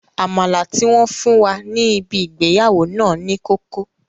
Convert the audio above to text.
Àmàlà tí wọ́n fún wa ní ibi ìgbéyàwó náà ní kókó